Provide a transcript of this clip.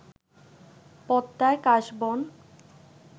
পদ্মায় কাশবন